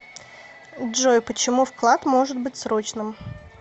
джой почему вклад может быть срочным